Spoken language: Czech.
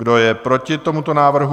Kdo je proti tomuto návrhu?